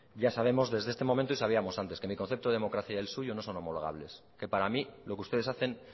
ya sabemos desde este momento y sabíamos antes que mi concepto de democracia y el suyo homologables que para mí lo que ustedes hacen